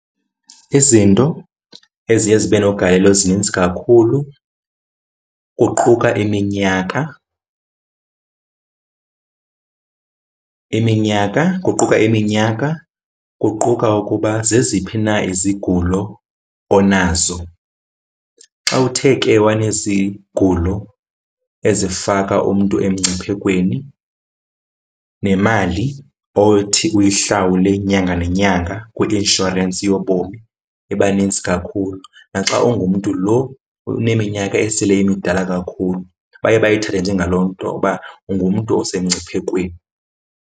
Izinto eziye zibe nogalelo zininzi kakhulu kuquka iminyaka, iminyaka, kuquka iminyaka, kuquka ukuba zeziphi na izigulo onazo. Xa uthe ke wanezigulo ezifaka umntu emngciphekweni nemali othi uyihlawule nyanga nenyanga kwi-inshorensi yobomi ibanintsi kakhulu. Naxa ungumntu lo uneminyaka esele imidala kakhulu, baye bayithathe njengaloo nto uba ungumntu usemngciphekweni.